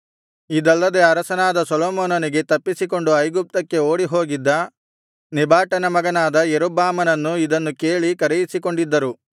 ಇದಲ್ಲದೆ ಅರಸನಾದ ಸೊಲೊಮೋನನಿಗೆ ತಪ್ಪಿಸಿಕೊಂಡು ಐಗುಪ್ತಕ್ಕೆ ಓಡಿಹೋಗಿದ್ದ ನೆಬಾಟನ ಮಗನಾದ ಯಾರೊಬ್ಬಾಮನನ್ನು ಇದನ್ನು ಕೇಳಿ ಕರೆಯಿಸಿಕೊಂಡಿದ್ದರು